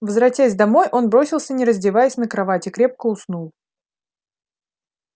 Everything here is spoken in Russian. возвратясь домой он бросился не раздеваясь на кровать и крепко уснул